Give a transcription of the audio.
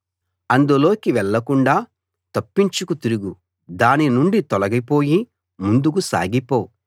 అందులోకి వెళ్ళకుండా తప్పించుకు తిరుగు దాని నుండి తొలగిపోయి ముందుకు సాగిపో